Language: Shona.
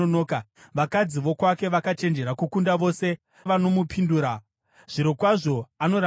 Vakadzi vokwake vakachenjera kukunda vose vanomupindura; zvirokwazvo, anoramba achiti,